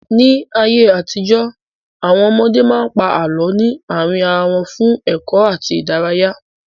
Ní ayé àtijó, Àwọn ọmọdé máa ń pa àlọ́ ní àárín ara wọn fún ẹ̀kọ́ àti ìdárayá.